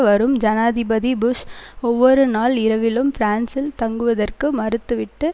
வரும் ஜனாதிபதி புஷ் ஒவ்வொரு நாள் இரவிலும் பிரான்சில் தங்குவதற்கு மறுத்து விட்டு